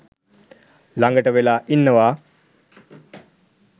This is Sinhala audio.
ළඟට වෙලා ඉන්නවා